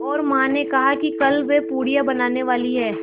और माँ ने कहा है कि कल वे पूड़ियाँ बनाने वाली हैं